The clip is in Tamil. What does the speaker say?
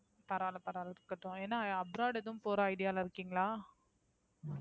பரவால்ல பரவால்ல இருக்கட்டும் என்ன Abroad ஏதும் போற Idea ல இருக்கீங்களா?